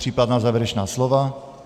Případná závěrečná slova?